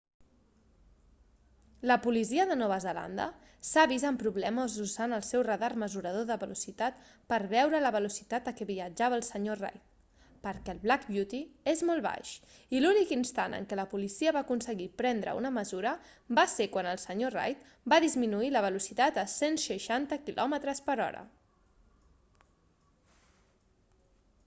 la policia de nova zelanda s'ha vist amb problemes usant el seu radar mesurador de velocitat per a veure la velocitat a què viatjava el senyor reid perquè el black beauty és molt baix i l'únic instant en què la policia va aconseguir prendre una mesura va ser quan el senyor reid va disminuir la velocitat a 160 km/h